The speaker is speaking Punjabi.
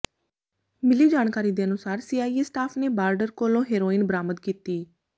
ਮਿਲੀ ਜਾਣਕਾਰੀ ਦੇ ਅਨੁਸਾਰ ਸੀਆਈਏ ਸਟਾਫ ਨੇ ਬਾਰਡਰ ਕੋਲੋਂ ਹੈਰੋਇਨ ਬਰਾਮਦ ਕੀਤੀ